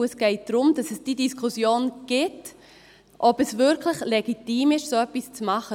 Es geht darum, dass es die Diskussion gibt, ob es wirklich legitim ist, so etwas zu tun.